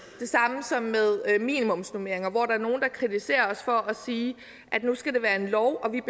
samme med minimumsnormeringerne hvor der er nogle der kritiserer os for at sige at det nu skal være en lov og at vi